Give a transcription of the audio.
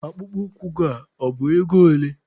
Akpụkpọ ụkwụ gị a bụ ego ole?